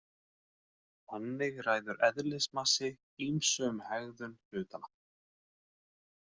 Þannig ræður eðlismassi ýmsu um hegðun hlutanna.